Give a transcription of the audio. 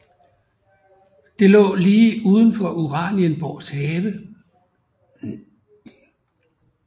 Det lå lige uden for Uranienborgs have